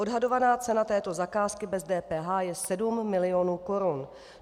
Odhadovaná cena této zakázky bez DPH je 7 milionů korun.